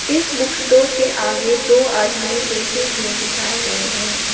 इस book store के आगे दो आदमी बैठे हुए दिखाए गए हैं।